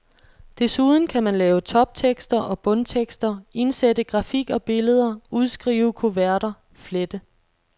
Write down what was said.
Desuden kan man lave toptekster og bundtekster, indsætte grafik og billeder, udskrive kuverter, flette.